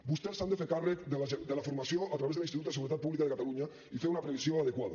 vostès s’han de fer càrrec de la formació a través de l’institut de seguretat pública de catalunya i fer una previsió adequada